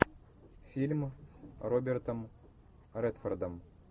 фильм с робертом редфордом